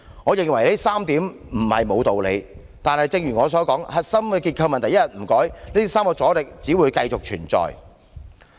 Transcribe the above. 我認為這3點都不無道理，但正如我所說，核心結構問題一天不改變，這3個阻力只會繼續存在。